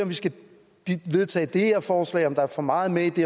vi skal vedtage det her forslag om der er for meget med i det